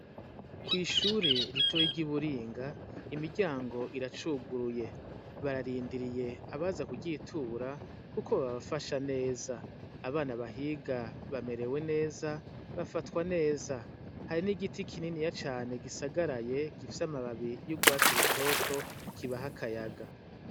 Kw'ishure ritoyi ry'Iburinga imiryango iracuguruye, bararindiriye abaza kuryitura kuko babafasha neza. Abana bahiga bamerewe neza, bafatwa neza. Hari n'igiti kininiya cane gisagaraye gifise amababi y'urwatsi rutoto, kibaha akayaga.